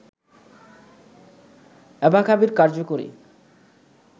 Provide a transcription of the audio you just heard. অ্যাবাকাভির কার্যকরী